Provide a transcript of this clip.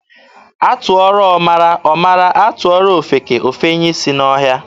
A tụọrọ ọmara, ọ mara, a tụọrọ ofeke, o fenye isi n'ọhịa.